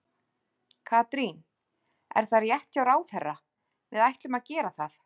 Katrín, er það rétt hjá ráðherra, við ættum að gera það?